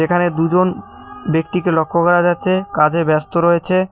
এখানে দুজন ব্যক্তিকে লক্ষ্য করা যাচ্ছে কাজে ব্যস্ত রয়েছে।